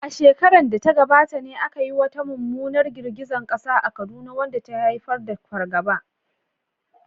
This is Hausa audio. A shekarar da ta gabata ne aka yi wata mummunar girgizar kasa a Kaduna wadda ta haifar da fargaba.